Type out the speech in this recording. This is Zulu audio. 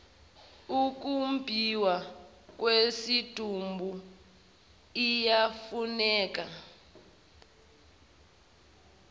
ukumbhiwa kwesidumbu iyafuneka